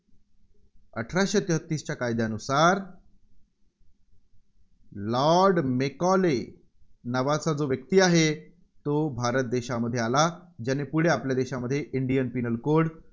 अठराशे तेहतीसच्या कायद्यानुसार लॉर्ड मेकॉले नावाचा जो व्यक्ती आहे, तो भारत देशामध्ये आला आणि ज्याने पुढे आपल्या देशामध्ये Indian Penal Code